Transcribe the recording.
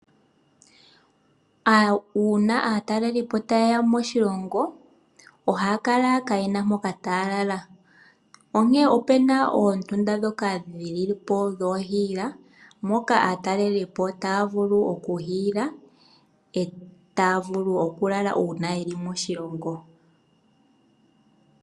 Uuna aatalelipo ta yeya moshilo ngo ohaya kala kaa yena mpoka taya lala, onkene upuna oondunda dhoka dhi lipo dhoo hiila moka aatalelipo taya vulu oku hiyila, etaya vulu oku lalamo uuna yeli moshilongo.